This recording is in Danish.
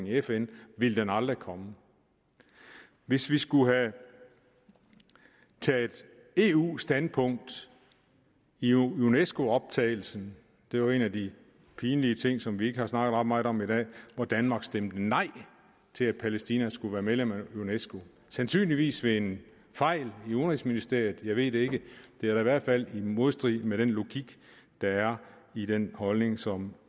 i fn ville den aldrig komme hvis vi skulle have taget eus standpunkt i unesco optagelsen det er jo en af de pinlige ting som vi ikke har snakket ret meget om i dag hvor danmark stemte nej til at palæstina skulle være medlem af unesco sandsynligvis ved en fejl i udenrigsministeriet jeg ved det ikke det er da i hvert fald i modstrid med den logik der er i den holdning som